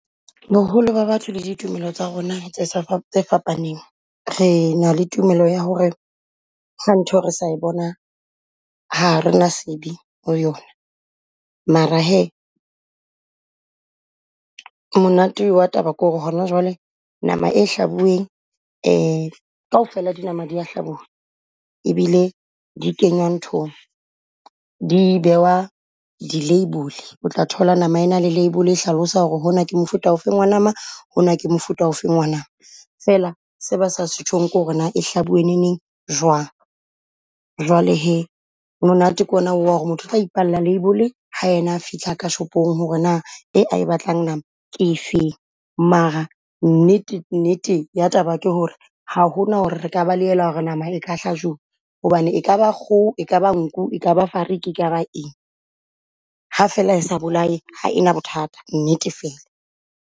Boholo ba batho le ditumelo tsa rona tse sa tse fapaneng. Re na le tumelo ya ho re, ha ntho re sa e bona ha rena sebe ho yona. Mara hee monate wa taba ko re hona jwale nama e hlabueng , kaofela dinama di ya habuwa e bile di kenya nthong di bewa di label. O tla thola number e na le label e hlalosa ho re hona ke mofuta ofeng wa nama, hona ke mofuta o feng wa nama. Fela se ba sa se tjhong ke ho re na e hlabue neneng jwang? Jwale hee monate ke o na wa ho re motho otla ipalla label ha ena a fihla ko shopong ho re na e a e batlang nama ke efeng. Mara nnete nnete ya taba ke ho re ha hona ho re re ka balehela ho re nama e ka hlajuwa. Hobane e ka ba kgoho, e ka ba nku, e ka ba fariki, e ka ba eng? Ha fela sa bolae ha e na bothata nnete fela.